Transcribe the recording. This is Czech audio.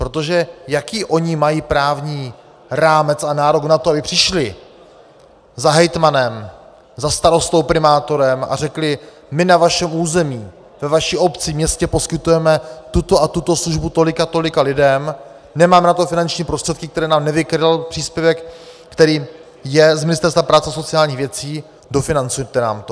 Protože jaký oni mají právní rámec a nárok na to, aby přišli za hejtmanem, za starostou, primátorem, a řekli "my na vašem území, ve vaší obci, městě, poskytujeme tuto a tuto službu tolika a tolika lidem, nemáme na to finanční prostředky, které nám nevykryl příspěvek, který je z Ministerstva práce a sociálních věcí, dofinancujte nám to"?